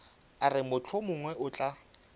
a re mohlomongwe o tla